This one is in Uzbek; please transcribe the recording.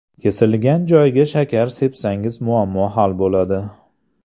Kesilgan joyga shakar sepsangiz muammo hal bo‘ladi.